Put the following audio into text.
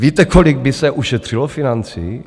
Víte, kolik by se ušetřilo financí?